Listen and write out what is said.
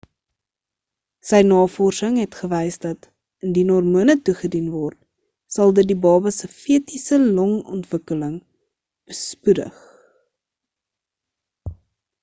sy navorsing het gewys dat indien hormone toegedien word sal dit die baba se fetiese long-ontwikkeling bespoedig